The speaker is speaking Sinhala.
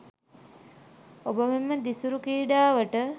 ඔබ මෙම දිසිරූ ක්‍රීඩාවට